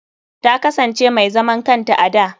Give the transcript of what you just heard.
Ta kasance mai zaman kanta a da.